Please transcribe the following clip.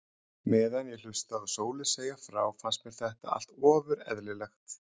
Meðan ég hlustaði á Sólu segja frá fannst mér þetta allt ofur eðlilegt.